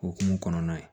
Okumu kɔnɔna ye